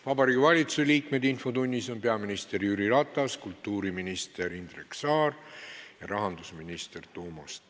Vabariigi Valitsuse liikmetest on infotunnis peaminister Jüri Ratas, kultuuriminister Indrek Saar ja rahandusminister Toomas Tõniste.